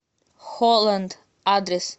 холланд адрес